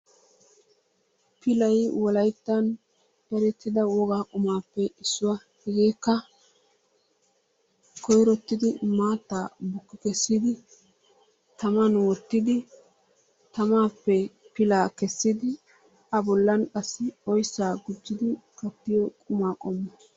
Pilayi wolayttan erettida wogaa qumaappe issuwa. Hegeekka koyrottidi maattaa bukki kessidi taman wottidi tamaappe pilaa kessidi a bollan qassi oyssaa gujjidi kattiyo qumaa qommo.